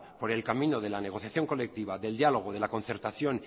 por el camino de la negociación colectiva del diálogo de la concertación